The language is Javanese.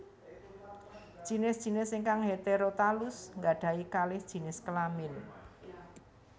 Jinis jinis ingkang heterotalus nggadhahi kalih jinis kelamin